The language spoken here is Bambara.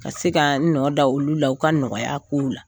Ka se ka n nɔ da olu la o ka nɔgɔya kow la,